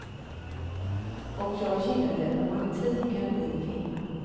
Och jag gillade romantiken i filmen.